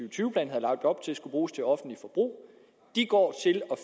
og tyve plan havde lagt op til skulle bruges til offentligt forbrug går